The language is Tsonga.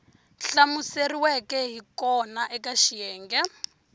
hlamuseriweke hi kona eka xiyenge